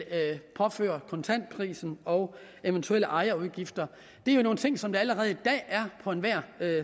påføres kontantpris og eventuelle ejerudgifter det er jo nogle ting som der allerede i dag er på enhver